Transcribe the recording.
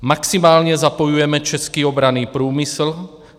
Maximálně zapojujeme český obranný průmysl.